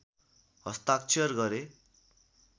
हस्ताक्षर गरे